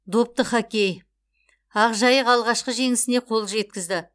допты хоккей ақжайық алғашқы жеңісіне қол жеткізді